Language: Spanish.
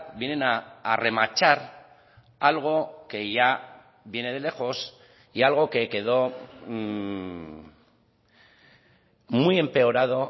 vienen a remachar algo que ya viene de lejos y algo que quedó muy empeorado